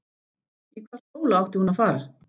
Í hvaða skóla átti hún að fara?